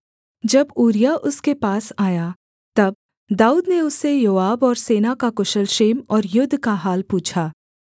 जब ऊरिय्याह उसके पास आया तब दाऊद ने उससे योआब और सेना का कुशल क्षेम और युद्ध का हाल पूछा